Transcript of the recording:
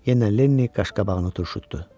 Yenə Lenni qaşqabağını turşutdu.